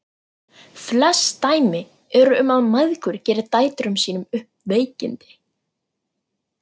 Flest dæmi eru um að mæður geri dætrum sínum upp veikindi.